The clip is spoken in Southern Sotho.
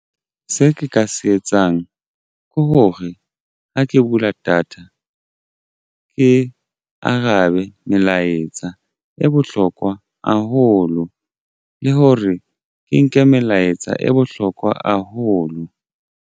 Se ke ka se etsang ke hore ha ke bula data ke arabe melaetsa e bohlokwa haholo le hore ke nke melaetsa e bohlokwa haholo.